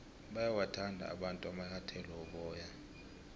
bayawathanda abantu amanyathele woboya